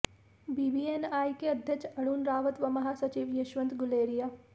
BBNI के अध्यक्ष अरुण रावत व महासचिव यशवंत गुलेरिया